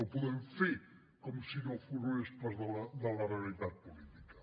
no podem fer com si no formés part de la realitat política